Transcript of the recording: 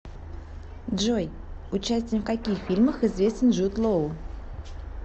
джой участием в каких фильмах известен джуд лоу